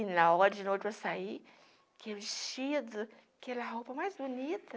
E na hora de noite eu ia sair, queria vestido, aquela roupa mais bonita,